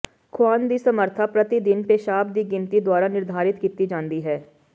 ਖੁਆਉਣ ਦੀ ਸਮਰੱਥਾ ਪ੍ਰਤੀ ਦਿਨ ਪੇਸ਼ਾਬ ਦੀ ਗਿਣਤੀ ਦੁਆਰਾ ਨਿਰਧਾਰਤ ਕੀਤੀ ਜਾਂਦੀ ਹੈ